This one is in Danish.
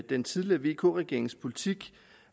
den tidligere vk regerings politik